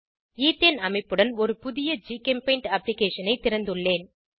ethane அமைப்புடன் ஒரு புதிய ஜிகெம்பெய்ண்ட் அப்ளிகேஷனை திறந்துள்ளேன்